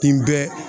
N bɛ